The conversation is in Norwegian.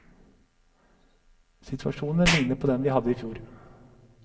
Situasjonen ligner på den vi hadde i fjor.